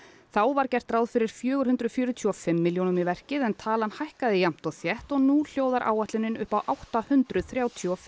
þá var gert ráð fyrir fjögur hundruð fjörutíu og fimm milljónum í verkið talan hækkaði jafnt og þétt og nú hljóðar áætlunin upp á átta hundruð þrjátíu og fimm